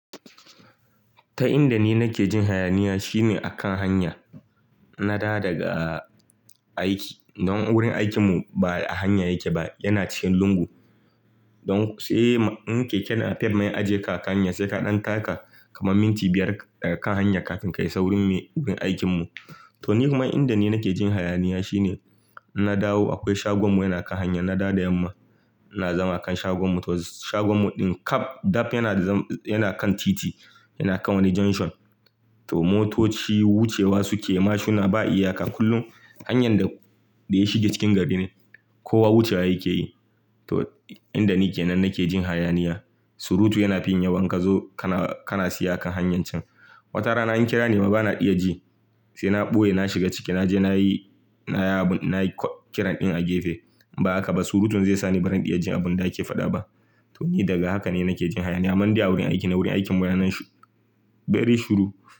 Ta inda ni nake jin hayaniya shine akan hanya. Na da daga aiki. Don wurin aikinmu ba a hanya yake ba, yana cikin lungu. Don sai in keke napep ma ya ajiye ka a hanya, sai ka ɗan taka kamar minti biyar a kan hanya kafin ka isa wurin aikinmu. To, ni kuma inda ni nake jin hayaniya shine in na dawo akwai shagon mu yana kan hanya. Na dawo da yamma ina zama a kan shagon mu. To shagon mu ɗin kaf dab yana zam, yana kan titi, yana kan wani junction. To, motoci wucewa suke ma shuna ba iyaka kullum. Hanyan da, da ya shiga cikin gari ne. Kowa wucewa yake yi. To, inda ni ke nan nake jin hayaniya. Surutu yana fin yawa in kazo kana, kana tsaye a kan hanyar cen. Wata rana in an kira nima bana iya ji. Sai na ɓoye na shiga ciki, naje nayi, nayi abun, nayi kiran ɗin a gefe. In ba haka ba surutun zai sa ni barin iya jin abun da ake faɗa ba. To, ni daga haka ne nake jin hayaniya. Amman dai a wurin aiki na wurin aikin munanan shu, very shuru.